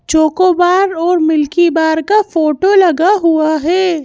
Choco bar और Milky Bar का photo लगा हुआ है।